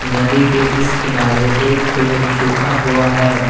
नदी के इस किनारे एक पेड़ सुखा हुआ है।